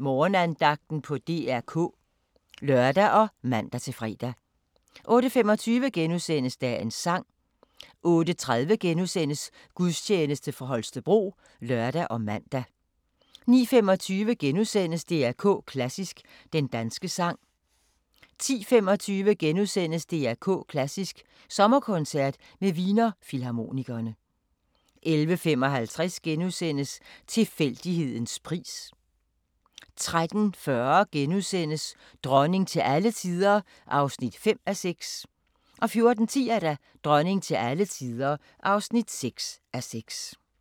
Morgenandagten på DR K *(lør og man-fre) 08:25: Dagens sang * 08:30: Gudstjeneste fra Holstebro *(lør og man) 09:25: DR K Klassisk: Den danske sang * 10:25: DR K Klassisk: Sommerkoncert med Wiener Filharmonikerne * 11:55: Tilfældighedens pris * 13:40: Dronning til alle tider (5:6)* 14:10: Dronning til alle tider (6:6)